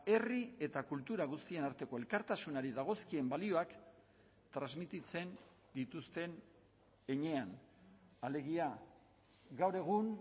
herri eta kultura guztien arteko elkartasunari dagozkien balioak transmititzen dituzten heinean alegia gaur egun